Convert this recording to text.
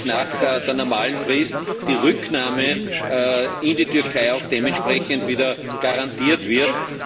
nach der normalen Frist die Rücknahme in die Türkei auch dementsprechend wieder garantiert wird?